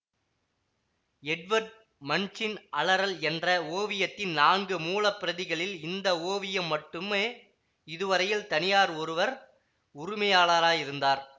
Edward மண்ச்சின் அலறல் என்ற ஓவியத்தின் நான்கு மூல பிரதிகளில் இந்த ஓவியம் மட்டுமே இதுவரையில் தனியார் ஒருவர் உரிமையாளராயிருந்தார்